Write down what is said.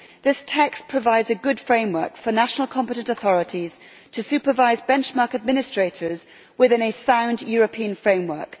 This text provides a good framework for national competent authorities to supervise benchmark administrators within a sound European framework.